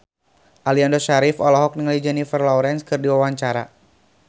Aliando Syarif olohok ningali Jennifer Lawrence keur diwawancara